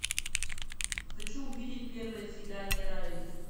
хочу увидеть первое свидание райли